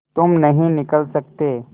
तुम नहीं निकल सकते